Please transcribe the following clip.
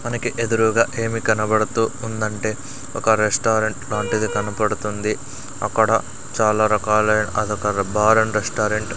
మనకి ఎదురుగా ఏమి కనపడుతూఉందంటే ఒక రెస్టారెంట్ లాంటిది కనపడుతుంది అక్కడ చాలా రాకలైన అదొక బార్ అండ్ రెస్టారెంట్ --